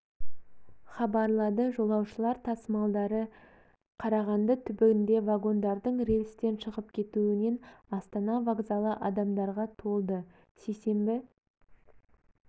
хабарлады жолаушылар тасымалдары ке қарағанды түбінде вагондардың рельстен шығып кетуінен астана возкалы адамдарға толды сейсенбі